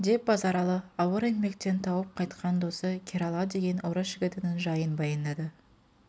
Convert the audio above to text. деп базаралы ауыр еңбектен тауып қайтқан досы керала деген орыс жігітінің жайып баяндады